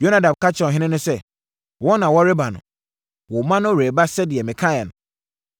Yonadab ka kyerɛɛ ɔhene no sɛ, “Wɔn na wɔreba no! Wo mma no reba sɛdeɛ mekaeɛ no.”